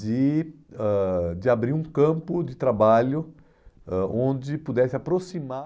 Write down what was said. de ãh de abrir um campo de trabalho ãh onde pudesse aproximar.